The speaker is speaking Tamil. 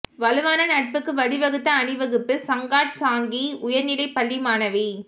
வலுவான நட்புக்கு வழிவகுத்த அணிவகுப்பு சங்காட் சாங்கி உயர்நிலைப் பள்ளி மாணவி